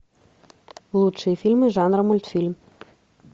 лучшие фильмы жанра мультфильм